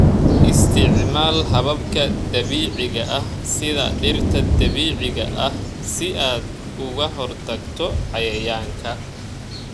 Isticmaal hababka dabiiciga ah sida dhirta dabiiciga ah si aad uga hortagto cayayaanka.